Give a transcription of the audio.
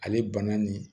Ale bana nin